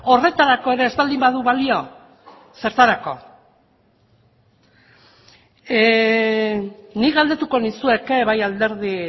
horretarako ere ez baldin badu balio zertarako nik galdetuko nizueke bai alderdi